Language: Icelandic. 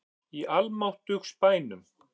Í almáttugs bænum!